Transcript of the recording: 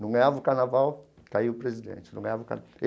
Não ganhava o carnaval, caía o presidente, não ganhava o